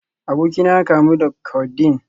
Abokina ya kamu da Codeine